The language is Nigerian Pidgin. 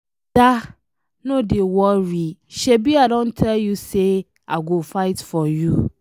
Ada, no dey worry, shebi I don tell you say I go fight for you